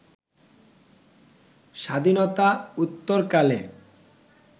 স্বাধীনতা উত্তরকালে